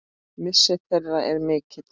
Missir þeirra er mikill.